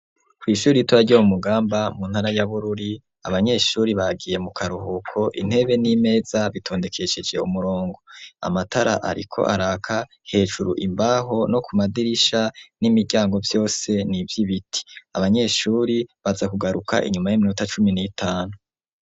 Kw'ishure ritoya Ryo mumugamba Ryo muntara ya bururi abanyeshure bagiye mukaruhuko intebe n'imeza bitondekesheje umurongo amatara Ariko araka hejuru imbaho no kumadirisha n'imiryango vyose n'ivyibiti, abanyeshure baza kugaruka inyuma yiminota cumi nitanu.